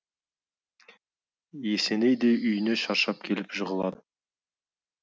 есеней де үйіне шаршап келіп жығылар